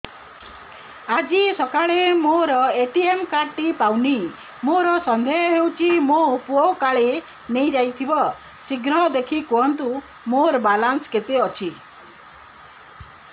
ଆଜି ସକାଳେ ମୋର ଏ.ଟି.ଏମ୍ କାର୍ଡ ଟି ପାଉନି ମୋର ସନ୍ଦେହ ହଉଚି ମୋ ପୁଅ କାଳେ ନେଇଯାଇଥିବ ଶୀଘ୍ର ଦେଖି କୁହନ୍ତୁ ମୋର ବାଲାନ୍ସ କେତେ ଅଛି